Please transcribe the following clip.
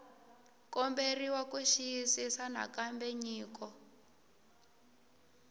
komberiwa ku xiyisisisa nakambe nyiko